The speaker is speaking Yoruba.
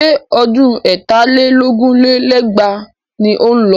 Ṣé ọdún ẹ̀tà lé lógún lé lẹ́gbàá ni ó ń lọ?